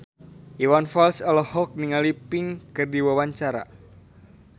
Iwan Fals olohok ningali Pink keur diwawancara